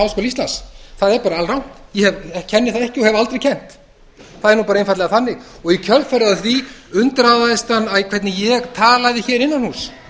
íslands það er bara alrangt ég kenni það ekki og hef aldrei kennt það er bara einfaldlega þannig og í kjölfarið á því undraðist hann hvernig ég talaði hér innan húss